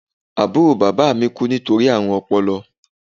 Àbúrò bàbá mi kú nítorí àrùn ọpọlọ